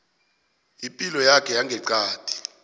ipilo yakho yangeqadi